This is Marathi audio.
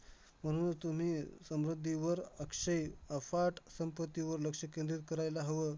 म्हणून तुम्ही समृद्धीवर अक्षय, अफाट संपत्तीवर लक्ष केंद्रित करायला हवं.